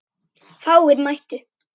Fáir mættu.